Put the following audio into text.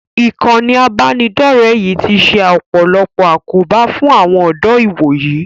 Ìkànnì ìbánidọ̀rẹ́ yìí ti ṣe ọ̀pọ̀lọpọ̀ àkóbá fún àwọn ọ̀dọ́ ìwòyí